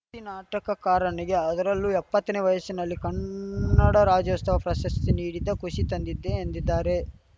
ತ್ತಿ ನಾಟಕಕಾರನಿಗೆ ಅದರಲ್ಲೂ ಎಪ್ಪತ್ತನೇ ವಯಸ್ಸಿನಲ್ಲಿ ಕನ್ನಡ ರಾಜ್ಯೋಸ್ತವ ಪ್ರಶಸ್ತಿ ನೀಡಿದ್ದು ಖುಷಿ ತಂದಿದ್ದೆ ಎಂದಿದ್ದಾರೆ